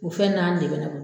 U fɛn naani de bɛ